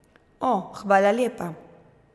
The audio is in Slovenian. O, hvala lepa.